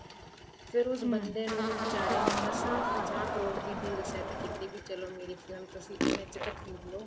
ਫ਼ੇਰ ਉਸ ਬੰਦੇ ਨੂੰ ਬੀਚਾਰੇ ਨੂੰ ਮਸਾ ਪੰਜਾਹ ਕਰੋੜ ਦੀ deal set ਕੀਤੀ ਵੀ ਚਲੋਂ ਮੇਰੀ ਫ਼ਿਲਮ ਤੁਸੀਂ ਐਨੇ ਚ ਤਾਂ ਖ਼ਰੀਦ ਲੋ